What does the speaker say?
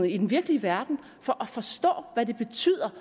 i den virkelige verden for at forstå hvad det betyder